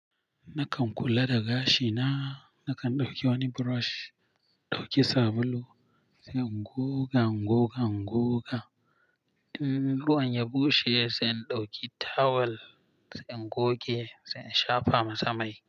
Nakan kula da gashi na, nakan ɗauki wani burosh, ɗauki sabulu, zan goga, ingoga, ingoga. In ruwan ya bushe sai in ɗauki tawel, sai in goge, sai in shafa masa mai.